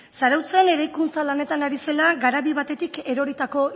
zarautzen eraikuntza lanetan ari zela garabi batetik eroritako